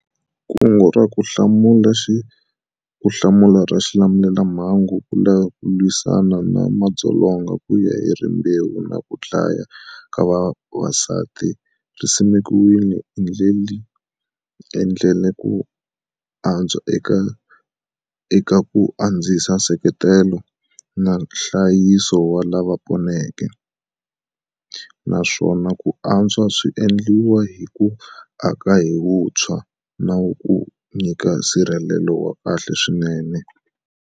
Kungu ra Ku Hlamula ra Xilamulelamhangu ku lwisana na madzolonga kuya hi rimbewu na kudlawa ka vavasati ri simekiwile hi endlile ku antswa eka ku andzisa nseketelo na nhlayiso wa lava poneke, naswona ku antswa swi endliwa hi ku aka hi vuntshwa nawu ku va nyika nsirhelelo wa kahle swinene.